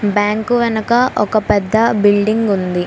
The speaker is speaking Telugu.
బ్యాంకు వెనక ఒక పెద్ద బిల్డింగ్ ఉంది.